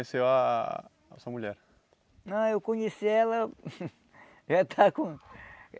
a sua mulher? Ah eu conheci ela já estava com